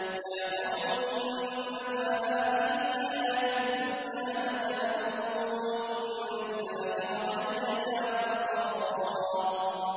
يَا قَوْمِ إِنَّمَا هَٰذِهِ الْحَيَاةُ الدُّنْيَا مَتَاعٌ وَإِنَّ الْآخِرَةَ هِيَ دَارُ الْقَرَارِ